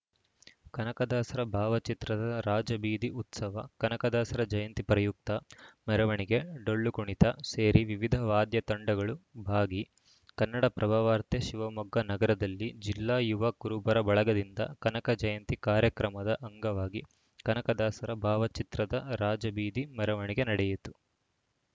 ಕನಕದಾಸರ ಭಾವಚಿತ್ರದ ರಾಜಬೀದಿ ಉತ್ಸವ ಕನಕದಾಸರ ಜಯಂತಿ ಪ್ರಯುಕ್ತ ಮೆರವಣಿಗೆ ಡೊಳ್ಳು ಕುಣಿತ ಸೇರಿ ವಿವಿಧ ವಾದ್ಯ ತಂಡಗಳು ಭಾಗಿ ಕನ್ನಡಪ್ರಭವಾರ್ತೆ ಶಿವಮೊಗ್ಗ ನಗರದಲ್ಲಿ ಜಿಲ್ಲಾ ಯುವ ಕುರುಬರ ಬಳಗದಿಂದ ಕನಕ ಜಯಂತಿ ಕಾರ್ಯಕ್ರಮದ ಅಂಗವಾಗಿ ಕನಕದಾಸರ ಭಾವಚಿತ್ರದ ರಾಜಬೀದಿ ಮೆರವಣಿಗೆ ನಡೆಯಿತು